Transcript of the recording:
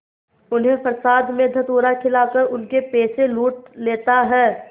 उन्हें प्रसाद में धतूरा खिलाकर उनके पैसे लूट लेता है